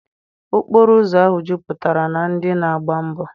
Okporo ụzọ ahụ jupụtara na ndị na-agba mbọọ.